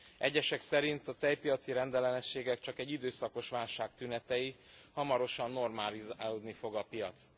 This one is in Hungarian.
Egyesek szerint a tejpiaci rendellenességek csak egy időszakos válság tünetei, hamarosan normalizálódni fog a piac.